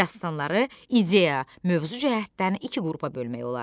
Dastanları ideya mövzu cəhətdən iki qrupa bölmək olar.